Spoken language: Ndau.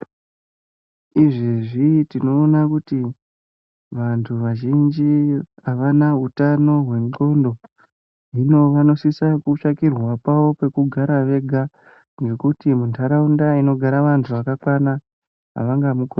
Izvezvi tinoona kuti vantu vazhinji avana utano hwendxondo. Hino vanosisa kutsvakirwa pavo pekugara vega ngekuti muntaraunda inogara vantu vakakwana ava ngamukoni.